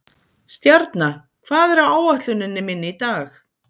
Stjarna, hvað er á áætluninni minni í dag?